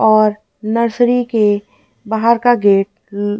और नर्सरी के बाहर का गेट--